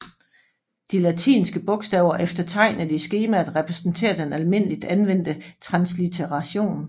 De latinske bogstaver efter tegnet i skemaet repræsenterer den almindeligt anvendte translitteration